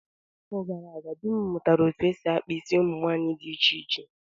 N'afọ gara aga, di m mụrụ etu esi-akpa isi ụmụ nwaanyị dị iche iche